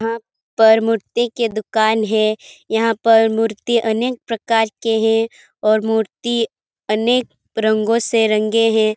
यहाँ पर मूर्ति के दुकान है यहाँ पर मूर्ति अनेक प्रकार के है और मूर्ति अनेक रंगो से है।